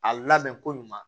A labɛn ko ɲuman